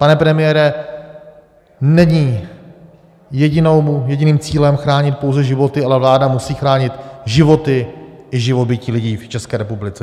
Pane premiére, není jediným cílem chránit pouze životy, ale vláda musí chránit životy i živobytí lidí v České republice.